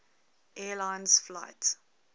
air lines flight